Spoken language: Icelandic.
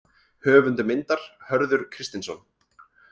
Höfundur myndar: Hörður Kristinsson.